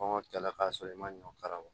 Kɔngɔ kɛlɛ ka sɔrɔ i ma ɲɔ kala bɔ